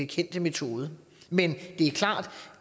kendte metode men det er klart